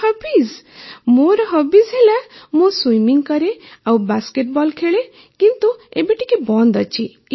ମୋର ହବିଜ ହେଲା ମୁଁ ସୁଇମିଂ କରେ ଆଉ ବାସ୍କେଟ୍ ବଲ୍ ଖେଳେ କିନ୍ତୁ ଏବେ ଟିକେ ବନ୍ଦ ଅଛି